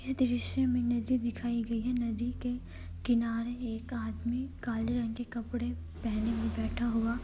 यह दृश्य में नदी दिखाई गई है। नदी के किनारे एक आदमी काले रंग के कपड़े पेहने बैठा हुआ --